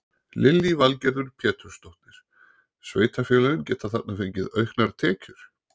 Lillý Valgerður Pétursdóttir: Sveitarfélögin geta þarna fengið auknar tekjur?